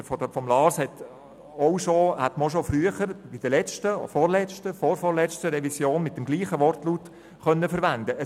Das Votum von Lars Guggisberg hätte man auch schon früher, bei der letzten oder der vorvorletzten Revision, mit demselben Wortlaut verwenden können.